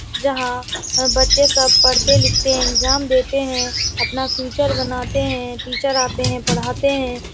जहां बच्चे सब पढ़ते-लिखते हैं इगजाम देते हैं। अपना फ्यूचर बनाते हैं। टीचर आते हैं पढ़ाते हैं।